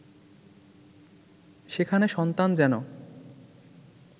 সেখানে সন্তান যেন